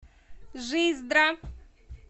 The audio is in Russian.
жиздра